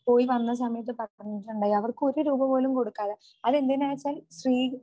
പോയി വന്ന സമയത്ത് പറഞ്ഞിട്ടുണ്ടായി അവർക്ക് ഒരു രൂപപോലും കൊടുക്കാതെ അതെന്തിന് എന്ന് വെച്ചാൽ സ്ത്രീ